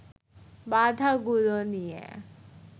বাধাগুলো নিয়ে